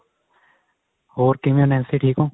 ਹੋਰ ਕਿਵੇਂ ਓ ਨੈਨਸੀ ਠੀਕ ਓ